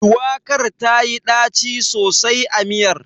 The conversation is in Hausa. Shuwakar tayi ɗaci sosai a miyar.